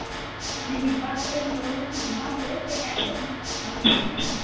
ସେମାନେ ଯିବାପାରେ ଯେତେବେଳେ ଫାଙ୍କା ହୁଏ ସେଇ time ରେ ସେମାନେ ଚାଲିଯାନ୍ତି